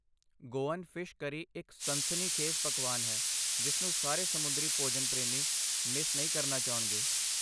Goan fish curry ਇੱਕ ਸਨਸਨੀਖੇਜ਼ ਪਕਵਾਨ ਹੈ ਜਿਸਨੂੰ ਸਾਰੇ ਸਮੁੰਦਰੀ ਭੋਜਨ ਪ੍ਰੇਮੀ ਮਿਸ ਨਹੀਂ ਕਰਨਾ ਚਾਹੁਣਗੇ।